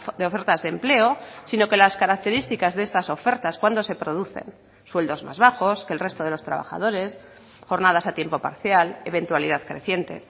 de ofertas de empleo sino que las características de estas ofertas cuando se producen sueldos más bajos que el resto de los trabajadores jornadas a tiempo parcial eventualidad creciente